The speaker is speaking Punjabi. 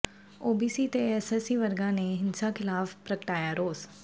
ਓਬੀਸੀ ਤੇ ਐਸਸੀ ਵਰਗਾਂ ਨੇ ਹਿੰਸਾ ਖ਼ਿਲਾਫ਼ ਪ੍ਰਗਟਾਇਆ ਰੋਸ